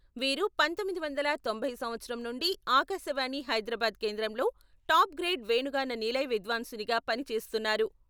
వీరు పంతొమ్మిది వందల తొంభై సంవత్సరం నుండి ఆకాశవాణి హైదరాబాద్ కేంద్రంలో టాప్ గ్రేడ్ వేణుగాన నిలయ విద్వాంసునిగా పని చేస్తున్నారు.